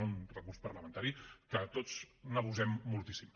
és un recurs parlamentari que tots n’abusem moltíssim